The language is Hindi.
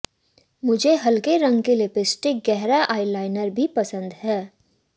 मुझे हल्के रंग की लिपस्टिक गहरा आईलाइनर भी पसंद है